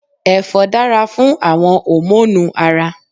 Ẹ̀fọ́ dára fún àwon hòmónù Ara